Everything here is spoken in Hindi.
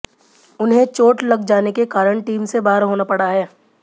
उन्हे चोट लग जाने के कारण टीम से बाहर होना पड़ा है